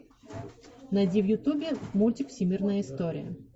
найди в ютубе мультик всемирная история